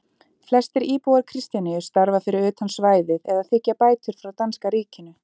Flestir íbúar Kristjaníu starfa fyrir utan svæðið eða þiggja bætur frá danska ríkinu.